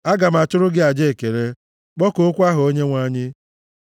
Aga m achụrụ gị aja ekele kpọkuokwa aha Onyenwe anyị.